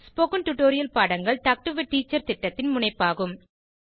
spoken tutorial பாடங்கள் talk to a teacher திட்டத்தின் முனைப்பாகும்